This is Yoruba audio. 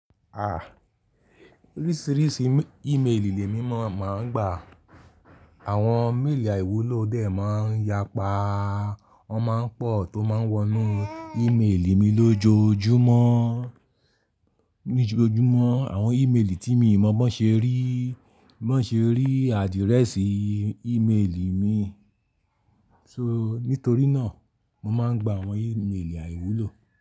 À, oríṣìíríṣìí ímeèlì lé mímọ̀ máa ń gbà. Àwọn méèlì àìwúlò dè máa ń yapa, wọ́n máa ń pọ̀ tó máa ń wọnú ímeèlì mi lójoójúmọ́. Lójojúmọ́ àwọn ímeèlì tí mi ò mọ bó ṣe rí, bó ṣe rí àdíréẹ́sì ímeèlì mi. So nítorí náà mo máa ń gbà àwọn ímeèlì àìwúlò.